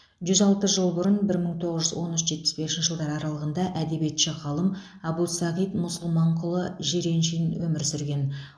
жүз алты жыл бұрын бір мың тоғыз жүз он үш жетпіс бесінші аралығында әдебиетші ғалым әбусағит мұсылманқұлұлы жиреншин өмір сүрген